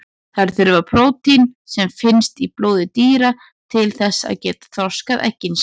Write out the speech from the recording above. Þær þurfa prótín sem finnst í blóði dýra til þess að geta þroskað eggin sín.